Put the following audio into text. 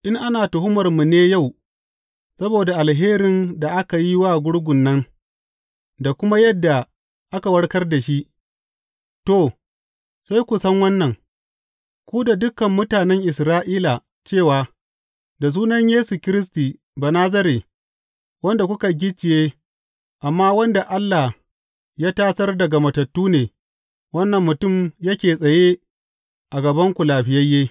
In ana tuhumarmu ne yau saboda alherin da aka yi wa gurgun nan da kuma yadda aka warkar da shi, to, sai ku san wannan, ku da dukan mutanen Isra’ila cewa da sunan Yesu Kiristi Banazare, wanda kuka gicciye amma wanda Allah ya tasar daga matattu ne, wannan mutum yake tsaye a gabanku lafiyayye.